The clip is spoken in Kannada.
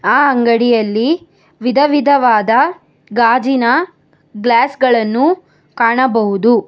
ಆ ಅಂಗಡಿಯಲ್ಲಿ ವಿಧವಿಧವಾದ ಗಾಜಿನ ಗ್ಲಾಸ್ ಗಳನ್ನು ಕಾಣಬಹುದು.